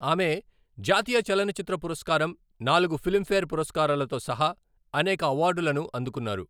ఆమె జాతీయ చలనచిత్ర పురస్కారం, నాలుగు ఫిల్మ్ఫేర్ పురస్కారాలతో సహా అనేక అవార్డులను అందుకున్నారు.